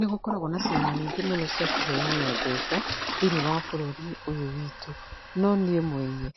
Nĩgũkoragwo na ciama ningĩ mũno cia kũheana mbeca thĩinĩ wa bũrũri ũyũ witũ. No niĩ mwenye,